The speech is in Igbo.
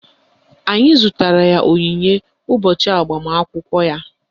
Anyị zụtara ya onyinye ụbọchị agbamakwụkwọ ya